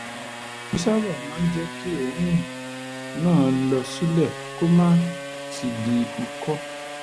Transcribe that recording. èyí sábà máa ń jẹ́ kí òórùn náà lọ sílẹ̀ kó má sì di ikọ́